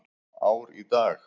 Ár í dag.